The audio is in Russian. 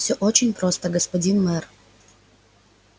все очень просто господин мэр